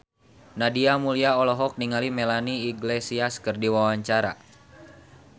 Nadia Mulya olohok ningali Melanie Iglesias keur diwawancara